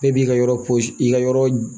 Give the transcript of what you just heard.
Bɛɛ b'i ka yɔrɔ i ka yɔrɔ